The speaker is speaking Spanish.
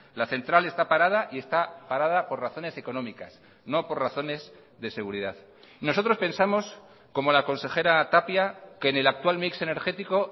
la central está parada y está parada por razones económicas no por razones de seguridad nosotros pensamos como la consejera tapia que en el actual mix energético